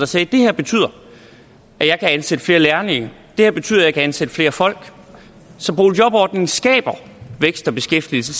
sagde det her betyder at jeg kan ansætte flere lærlinge det her betyder at jeg kan ansætte flere folk så boligjobordningen skaber vækst og beskæftigelse